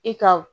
I ka